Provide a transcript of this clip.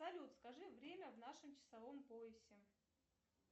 салют скажи время в нашем часовом поясе